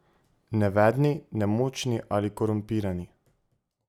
Nevedni, nemočni ali korumpirani?